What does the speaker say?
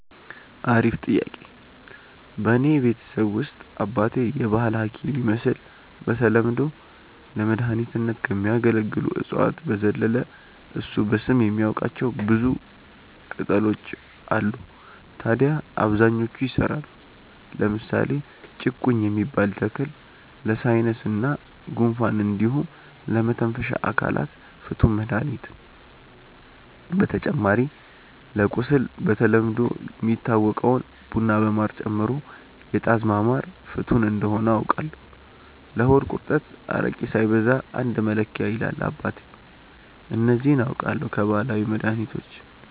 አሪፍ ጥያቄ፣ በእኔ ቤተሰብ ውስጥ አባቴ የባህል ሀኪም ይመስል በተለምዶ ለመድኃኒትነት ከሚያገለግሉ እፅዋት በዘለለ እሱ በስም የሚያቃቸው ብዙ ቅጣሎች አሉ ታድያ አብዛኞቹ ይሰራሉ። ለምሳሌ ጭቁኝ የሚባል ተክል ለሳይነስ እና ጉንፋን እንዲሁም ለመተንፈሻ አካላት ፍቱን መድሀኒት ነው። በተጨማሪ ለቁስል በተለምዶ የሚታወቀውን ቡና በማር ጨምሮ የጣዝማ ማር ፍቱን እንደሆነ አውቃለው። ለሆድ ቁርጠት አረቄ ሳይበዛ አንድ መለኪያ ይላል አባቴ። እነዚህ አውቃለው ከባህላዊ መድሀኒቶች።